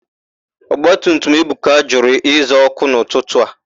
Ọgbatutum Ebuka jụrụ ịza òkù n'ụtụtụ a.